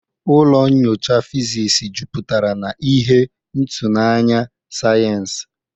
Ụlọ nyocha fizisi jupụtara na ihe ịtụnanya sayensị.